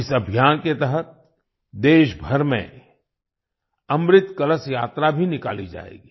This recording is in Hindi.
इस अभियान के तहत देशभर में अमृत कलश यात्रा भी निकाली जाएगी